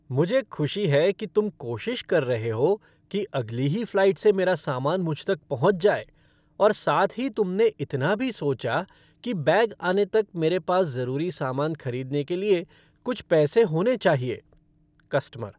मुझे खुशी है कि तुम कोशिश कर रहे हो कि अगली ही फ़्लाइट से मेरा सामान मुझ तक पहुंच जाए और साथ ही तुमने इतना भी सोचा कि बैग आने तक मेरे पास ज़रूरी सामान खरीदने के लिए कुछ पैसे होने चाहिए। कस्टमर